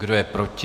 Kdo je proti,